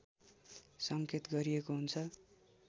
सङ्केत गरिएको हुन्छ